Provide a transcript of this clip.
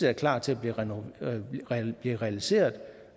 er klar til at blive realiseret